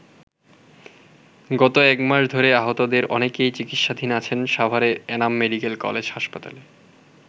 গত একমাস ধরে আহতদের অনেকেই চিকিৎসাধীন আছেন সাভারের এনাম মেডিকেল কলেজ হাসপাতালে।